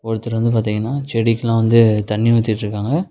ஒருத்தர் வந்து பாத்தீங்கனா செடிக்குலாம் வந்து தண்ணி ஊத்திட்ருகாங்க.